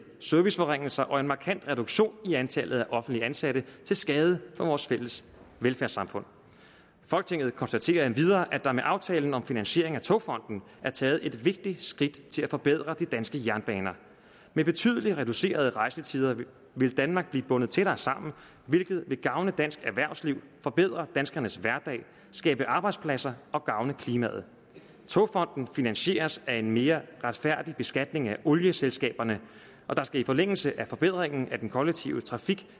serviceforringelser og en markant reduktion i antallet af offentligt ansatte til skade for vores fælles velfærdssamfund folketinget konstaterer endvidere at der med aftalen om finansiering af togfonden er taget et vigtigt skridt til at forbedre de danske jernbaner med betydeligt reducerede rejsetider vil danmark blive bundet tættere sammen hvilket vil gavne dansk erhvervsliv forbedre danskernes hverdag skabe arbejdspladser og gavne klimaet togfonden finansieres af en mere retfærdig beskatning af olieselskaberne der skal i forlængelse af forbedringen af den kollektive trafik